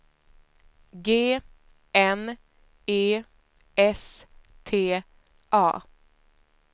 G N E S T A